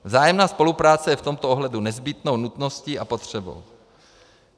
Vzájemná spolupráce je v tomto ohledu nezbytnou nutností a potřebou.